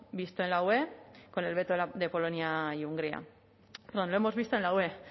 con el veto de polonia y hungría lo hemos visto en la ue